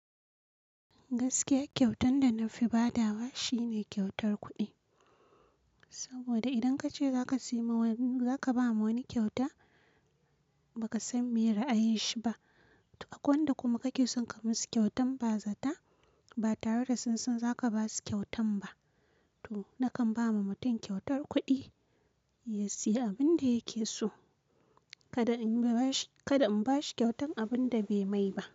Gaskiya kyautan da na fi badawa shine kyautar kuɗi. Saboda idan kace zaka ba ma wani kyauta ba ka san me ra'ayin shi ba. To akwai wanda kuma kake son ka musu kyautan ba zata ba tare da sunsan zaka ba su kyautan ba. To nakan ba ma mutum kyautar kuɗi ya sayi abin da yake so. Kada in ba shi kyautan abin da bai mai ba.